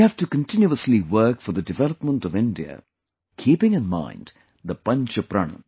We have to continuously work for the development of India keeping in mind the Panch Pran